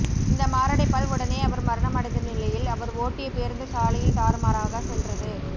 இந்த மாரடைப்பால் உடனே அவர் மரணம் அடைந்த நிலையில் அவர் ஓட்டிய பேருந்து சாலையில் தாறுமாறாக சென்றது